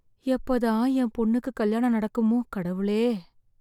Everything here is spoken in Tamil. எப்ப தான் என் பொண்ணுக்கு கல்யாணம் நடக்குமோ கடவுளே!